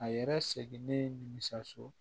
A yɛrɛ seginnen nimisi